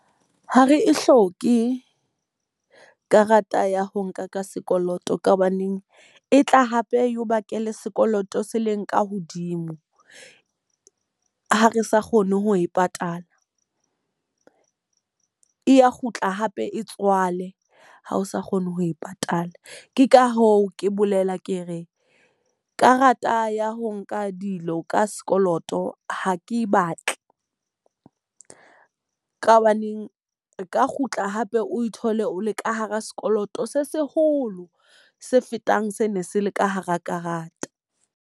Ha re e hloke, karata ya ho nka ka sekoloto. Ka hobaneng e tla hape e o bakele sekoloto se leng ka hodimo ha re sa kgone ho e patala. E ya kgutla hape e tswale ha o sa kgone ho e patala. Ke ka hoo ke bolela ke re, karata ya ho nka dilo ka sekoloto ho ke batle. Ka hobaneng e ka kgutla hape o thole o le ka hara sekoloto se seholo se fetang se ne se le ka hara karata.